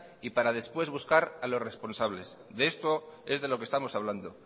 y para después buscar a los responsables de esto es de lo que estamos hablando